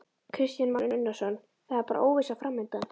Kristján Már Unnarsson: Það er bara óvissa framundan?